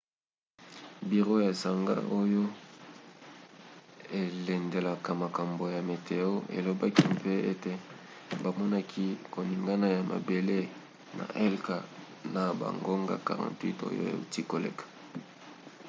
biro ya esanga oyo elandelaka makambo ya meteo elobaki mpe ete bamonaki koningana ya mabele na helka na bangonga 48 oyo euti koleka